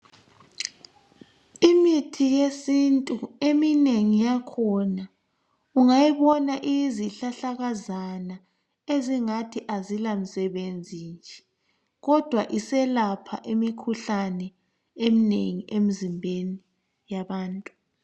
Imithi yesintu eminengi yakhona ungayibona iyizihlahlakazana ezingathi azilamsebenzi nje kodwa iselapha imikhuhlane eminengi emizimbeni yabantu